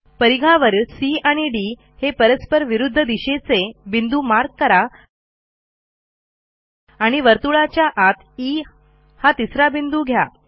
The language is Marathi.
परिघावरील सी आणि डी हे परस्पर विरूध्द दिशेचे बिंदू मार्क करा आणि वर्तुळाताच्या आत ई हा तिसरा बिंदू घ्या